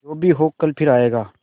जो भी हो कल फिर आएगा